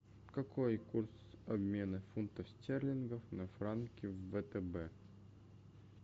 какой курс обмена фунтов стерлингов на франки в втб